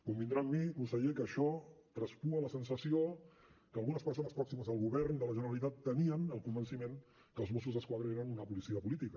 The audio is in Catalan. convindrà amb mi conseller que això traspua la sensació que algunes persones pròximes al govern de la generalitat tenien el convenciment que els mossos d’esquadra eren una policia política